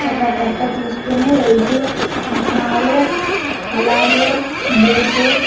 ఒక కట్ట తీసుకుని వెళ్తూ ఉన్నాడు అలాగే గేటు .